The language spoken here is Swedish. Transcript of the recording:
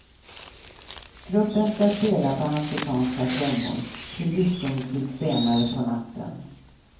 Gruppen ska spela på afrikanska trummor till diskomusik senare på natten.